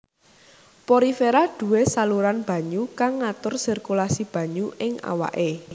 Porifera duwé saluran banyu kang ngatur sirkulasi banyu ing awaké